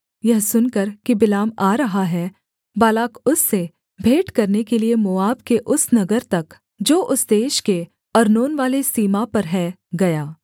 यह सुनकर कि बिलाम आ रहा है बालाक उससे भेंट करने के लिये मोआब के उस नगर तक जो उस देश के अर्नोनवाले सीमा पर है गया